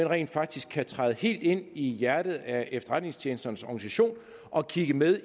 rent faktisk kan træde helt ind i hjertet af efterretningstjenesternes organisationer og kigge med